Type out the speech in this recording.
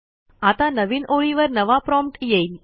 आता नवीन ओळीवर नवा प्रॉम्प्ट येईल